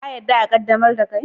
Ka yarda a qaddamar da kei?